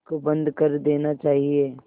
इसको बंद कर देना चाहिए